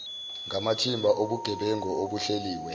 ngamathimba obugebengu obuhleliwe